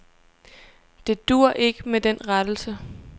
Det duer ikke med den rettelse.